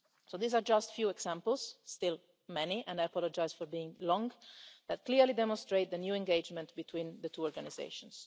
These are just few examples still many, and I apologise for being long that clearly demonstrate the new engagement between the two organisations.